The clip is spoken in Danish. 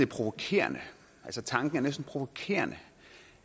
provokerende altså tanken er næsten provokerende